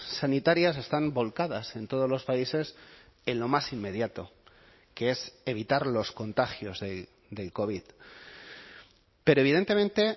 sanitarias están volcadas en todos los países en lo más inmediato que es evitar los contagios del covid pero evidentemente